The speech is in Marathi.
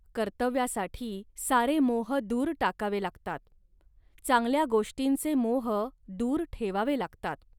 कर्तव्यासाठी सारे मोह दूर टाकावे लागतात. चांगल्या गोष्टींचे मोह दूर ठेवावे लागतात